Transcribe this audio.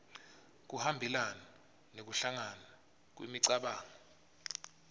kuhambelana nekuhlangana kwemicabango